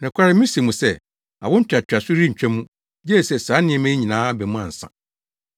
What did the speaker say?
“Nokware mise mo sɛ, awo ntoatoaso yi rentwa mu, gye sɛ saa nneɛma yi nyinaa aba mu ansa.